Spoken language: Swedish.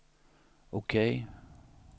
OK